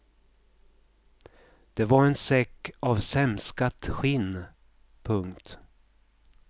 Det var en säck av sämskat skinn. punkt